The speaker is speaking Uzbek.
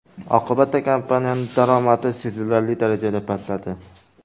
Oqibatda kompaniyaning daromadi sezilarli darajada pastladi.